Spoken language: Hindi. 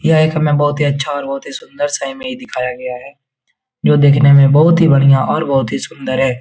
यह एक हमें बहुत ही अच्छा और बहुत ही सुन्दर सा इमेज दिखाया गया है जो दिखने में बहुत ही बढ़िया और बहुत ही सुन्दर है ।